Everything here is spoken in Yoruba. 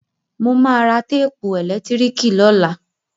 Mo ma ra téèpù ẹ̀lẹ́tíríkì lọ́la